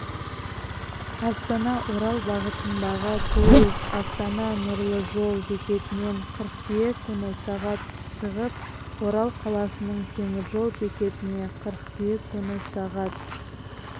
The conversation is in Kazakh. астанаорал бағытындағы пойыз астана-нұрлы-жол бекетінен қыркүйек күні сағат шығып орал қаласының теміржол бекетіне қыркүйек күні сағат